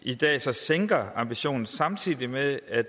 i dag så sænker ambitionen samtidig med at